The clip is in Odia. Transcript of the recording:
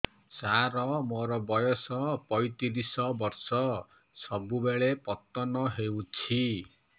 ସାର ମୋର ବୟସ ପୈତିରିଶ ବର୍ଷ ସବୁବେଳେ ପତନ ହେଉଛି